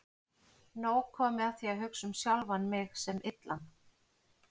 Nóg komið af því að hugsa um sjálfan mig sem illan.